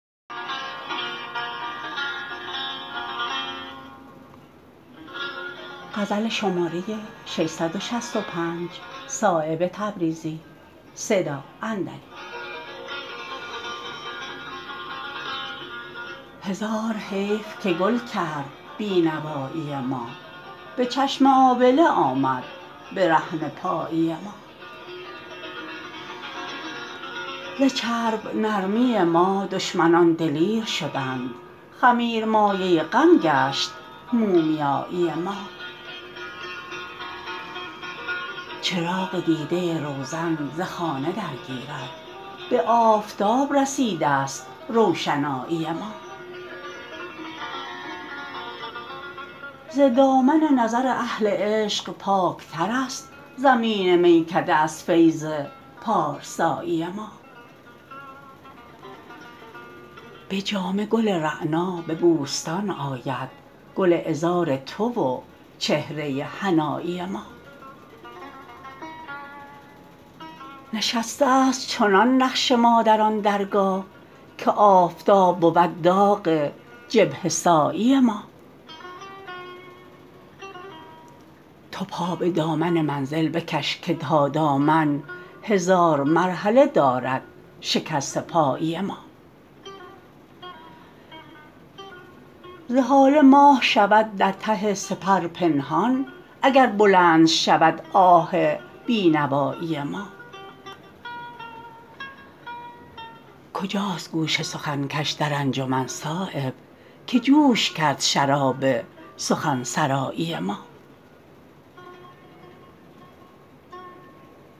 هزار حیف که گل کرد بینوایی ما به چشم آبله آمد برهنه پایی ما ز چرب نرمی ما دشمنان دلیر شدند خمیر مایه غم گشت مومیایی ما چراغ دیده روزن ز خانه درگیرد به آفتاب رسیده است روشنایی ما ز دامن نظر اهل عشق پاکترست زمین میکده از فیض پارسایی ما به جامه گل رعنا به بوستان آید گل عذار تو و چهره حنایی ما نشسته است چنان نقش ما در آن درگاه که آفتاب بود داغ جبهه سایی ما تو پا به دامن منزل بکش که تا دامن هزار مرحله دارد شکسته پایی ما ز هاله ماه شود در ته سپر پنهان اگر بلند شود آه بینوایی ما کجاست گوش سخن کش در انجمن صایب که جوش کرد شراب سخنسرایی ما